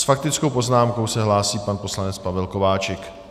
S faktickou poznámkou se hlásí pan poslanec Pavel Kováčik.